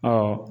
Ɔ